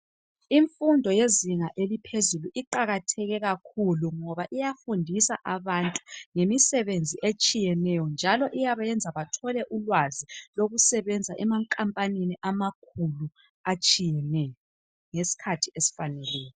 Imfundo yezinga eliphezulu iqalatheke kakhulu ngoba iyafundisa abantu ngemisebenzi etshiyeneyo njalo iyabenza bathole ulwazi lokusebenza emankampanini amakhulu atshiyeneyo ngesikhathi esifaneleyo.